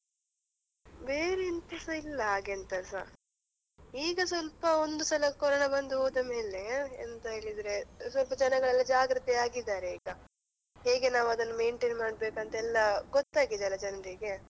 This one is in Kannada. ಬೇರೆ ಎಂತಸ ಇಲ್ಲ ಹಾಗೆಂತಸ, ಈಗ ಸ್ವಲ್ಪ ಒಂದು ಸಲ corona ಬಂದು ಹೋದ ಮೇಲೆ ಎಂತ ಹೇಳಿದ್ರೆ ಸ್ವಲ್ಪ ಜನಗಳೆಲ್ಲ ಜಾಗೃತೆಯಾಗಿದಾರೆ ಈಗ, ಹೇಗೆ ನಾವು ಅದನ್ನ maintain ಮಾಡ್ಬೇಕಂತ ಎಲ್ಲ ಗೊತ್ತಾಗಿದೆ ಅಲ್ಲ ಜನ್ರಿಗೆ.